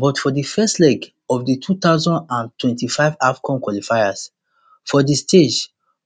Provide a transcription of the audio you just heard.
but for di first leg of di two thousand and twenty-five afcon qualifiers for di stade